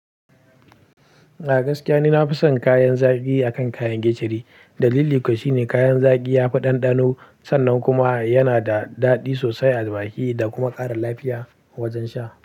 A gaskiya ni na fi son kayan zaki akan kayan gicciye. Dalili kawai shine kayan zaki ya fi ɗanɗano sannan kuma yana da daɗi sosai a baki da kuma ƙara lafiya wajen sha.